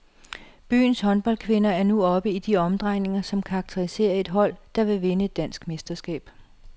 Byens håndboldkvinder er nu oppe i de omdrejninger, som karakteriserer et hold, der vil vinde et dansk mesterskab.